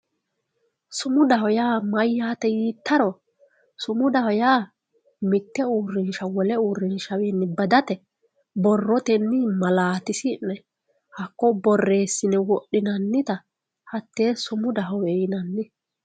sumudaho yaa mayyate yiittaro sumudaho yaa mitte uurrinsha wole uurrinshawiinni badate borrotenni malaatisi'ne hakko borreessi'ne wodhinannita sumudahowe yinanni.